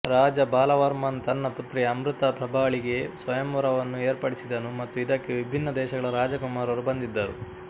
ರಾಜ ಬಾಲ ವರ್ಮನ್ ತನ್ನ ಪುತ್ರಿ ಅಮೃತ ಪ್ರಭಾಳಿಗಾಗಿ ಸ್ವಯಂವರವನ್ನು ಏರ್ಪಡಿಸಿದನು ಮತ್ತು ಇದಕ್ಕೆ ವಿಭಿನ್ನ ದೇಶಗಳ ರಾಜಕುಮಾರರು ಬಂದಿದ್ದರು